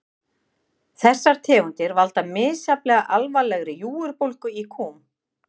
Þessar tegundir valda misjafnlega alvarlegri júgurbólgu í kúm.